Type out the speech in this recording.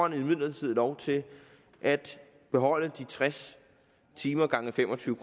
imidlertid lov til at beholde de tres timer gange fem og tyve